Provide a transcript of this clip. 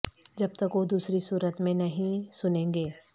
جب تک وہ دوسری صورت میں نہیں سنیں گے